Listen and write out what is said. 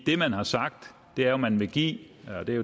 det man har sagt er at man vil give